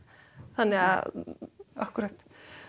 þannig að akkúrat